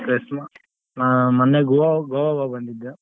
Chris~ ಹಾ ಮೊನ್ನೆ Goa ಗ್ Goa ಹೋಗ್ ಬಂದಿದ್ದು.